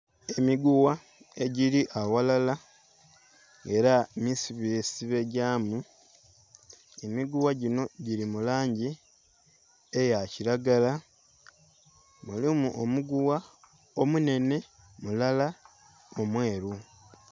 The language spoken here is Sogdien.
Emigugha egili aghalala era misibe sibe gyamu, emigugha ginho gili mu langi eya kilagala. Mulimu omugugha omu nenhe mulala omweru.